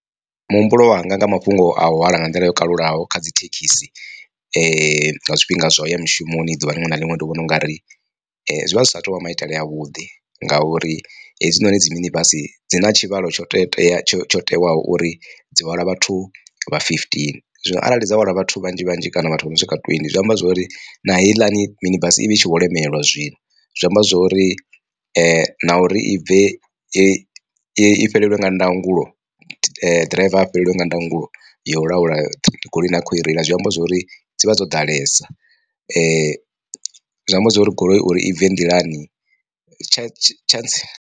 Muhumbulo wanga nga mafhungo a u hwala nga nḓila yo kalulaho kha dzi thekhisi nga zwifhinga zwa u ya mushumoni ḓuvha liṅwe na liṅwe ndi vhona ungari zwivha zwi sa tou vha maitele a vhuḓi, ngauri hedzinoni dzi mini basi dzi na tshivhalo tsho tsho tsho tiwaho uri dzi hwala vhathu vha fifteen. Zwino arali dza hwala vhathu vhanzhi vhanzhi kana vhathu vha no swika twendi zwi amba zwori na heiḽani mini basi i vha i tshi vho lemelwa zwino zwi amba zwori na uri i bve i i fhelelwe nga ndangulo ḓiraiva a fhelelwa nga ndango yo laula goloi ine a khou i reila zwi amba zwori dzivha dzo ḓalesa zwi amba zwori goloi uri i bve nḓilani tsha tshantsi.